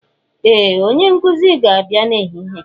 Ee! Onye nkuzi ga-abịa n'ehihie.